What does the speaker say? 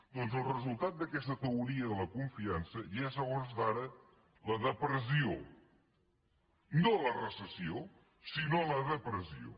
doncs el resultat d’aquesta teoria de la confiança ja és a hores d’ara la depressió no la recessió sinó la depressió